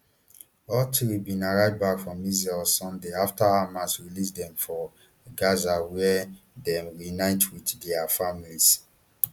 all three bin arrive back for israel on sunday afta hamas release dem for gaza wia dem reunite wit dia families